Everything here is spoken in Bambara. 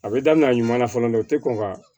A bɛ daminɛ a ɲuman fɔlɔ dɛ o tɛ kɔn ka